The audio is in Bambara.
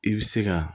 I bɛ se ka